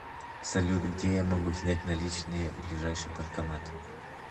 салют где я могу снять наличные ближайший банкомат